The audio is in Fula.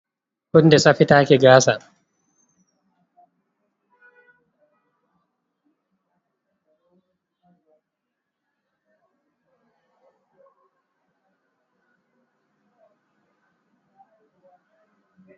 Hunde safitaki gaasa.